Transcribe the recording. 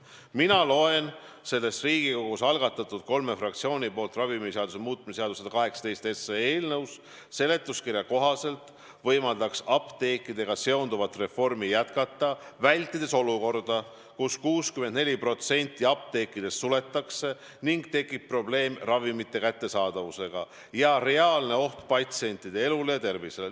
Mina loen selle Riigikogu kolme fraktsiooni algatatud ravimiseaduse muutmise seaduse eelnõu seletuskirjast, et soov on apteekidega seonduvat reformi jätkata, vältides olukorda, kus 64% apteekidest suletaks ning tekiks probleem ravimite kättesaadavusega ja reaalne oht patsientide elule ja tervisele.